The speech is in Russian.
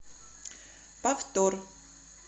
повтор